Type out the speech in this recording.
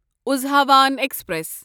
اُزہاوان express